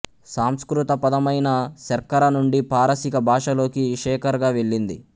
సంస్కృత పదమైన శర్కర నుండి పారశీక భాషలోకి షేఖర్ గా వెళ్లింది